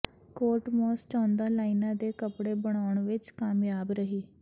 Kate Moss ਚੌਦਾਂ ਲਾਈਨਾਂ ਦੇ ਕੱਪੜੇ ਬਣਾਉਣ ਵਿਚ ਕਾਮਯਾਬ ਰਹੀ